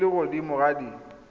di le godimo ga di